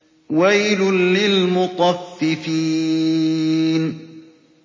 وَيْلٌ لِّلْمُطَفِّفِينَ